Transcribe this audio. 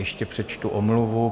Ještě přečtu omluvu.